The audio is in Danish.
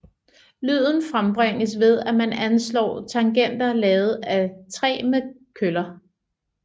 Lyden frembringes ved at man anslår tangenter lavet af træ med køller